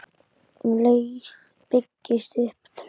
Um leið byggist upp traust.